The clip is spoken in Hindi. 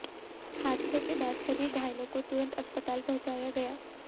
हादसे के बाद सभी घायलों को तुरंत अस्पताल पहुंचाया गया